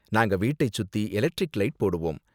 நாங்க வீட்டை சுத்தி எலெக்ட்ரிக் லைட் போடுவோம்.